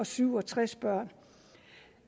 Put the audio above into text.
syv og tres børn